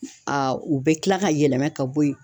u bɛ kila ka yɛlɛma ka bɔ yen.